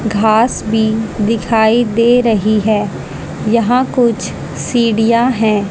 घास भी दिखाई दे रही है यहां कुछ सीढ़ियां हैं।